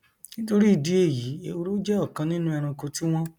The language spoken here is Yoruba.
nítorí ìdí èyí ehoro jẹ ọkan nínú ẹranko tí wọn